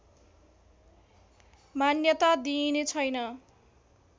मान्यता दिइने छैन